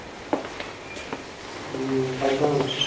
হু তাইতো